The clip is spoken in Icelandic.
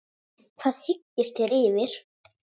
Hvað hyggist þér fyrir?